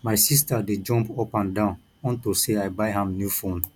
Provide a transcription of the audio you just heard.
my sister dey jump up and down unto say i buy am new phone